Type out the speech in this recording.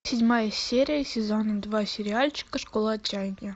седьмая серия сезона два сериальчика школа отчаяния